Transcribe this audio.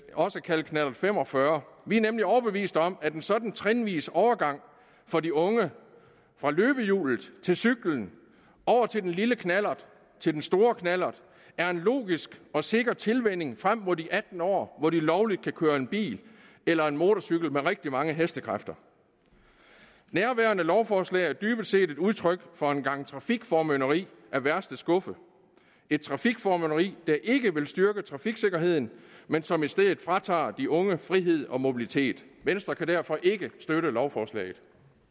også kaldet knallert fem og fyrre vi er nemlig overbeviste om at en sådan trinvis overgang for de unge fra løbehjul til cyklen over til den lille knallert og til den store knallert er en logisk og sikker tilvænning frem mod de atten år hvor de lovligt kan køre en bil eller motorcykel med rigtig mange hestekræfter nærværende lovforslag er dybest set et udtryk for en gang trafikformynderi af værste skuffe et trafikformynderi der ikke vil styrke trafiksikkerheden men som i stedet fratager de unge frihed og mobilitet venstre kan derfor ikke støtte lovforslaget